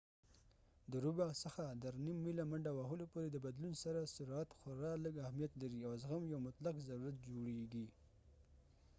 د ربع څخه تر نیم ميله منډه وهلو پورې د بدلون سره سرعت خورا لږ اهمیت لري او زغم یو مطلق ضرورت جوړيږي